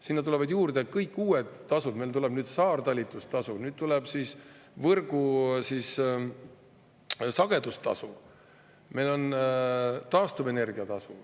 Sinna tulevad juurde kõik uued tasud – meil tuleb nüüd saartalitlustasu, tuleb võrgusagedustasu – ja meil on taastuvenergia tasu.